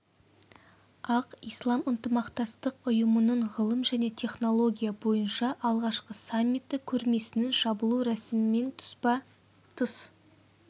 ақ ислам ынтымақтастық ұйымының ғылым және технология бойынша алғашқы саммиті көрмесінің жабылу рәсімімен тұспа тұспа